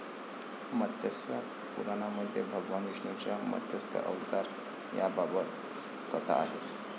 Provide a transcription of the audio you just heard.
मत्स्य पुराणामध्ये भगवान विष्णूच्या मत्स्य अवतार याबाबत कथा आहेत.